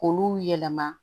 K'olu yɛlɛma